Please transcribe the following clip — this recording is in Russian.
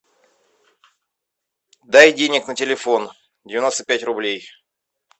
дай денег на телефон девяносто пять рублей